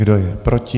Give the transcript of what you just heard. Kdo je proti?